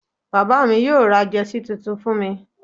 bàbá mi yóò ra Jersey titun fún mi